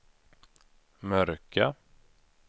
mörka